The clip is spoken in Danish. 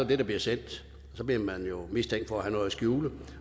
det der bliver sendt og så bliver man jo mistænkt for at have noget at skjule